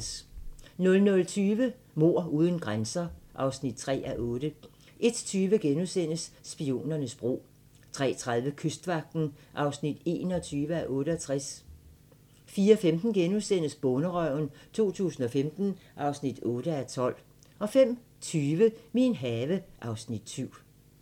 00:20: Mord uden grænser (3:8) 01:20: Spionernes bro * 03:30: Kystvagten (21:68) 04:15: Bonderøven 2015 (8:12)* 05:20: Min have (Afs. 7)